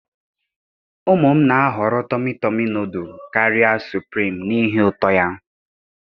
Ụmụ m na-ahọrọ tomị tọmi nụdụl karịa sụprim n'ihi uto ya.